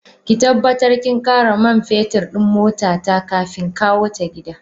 Ki tabbatar kin kara man fetur din motata kafin kawota gidan.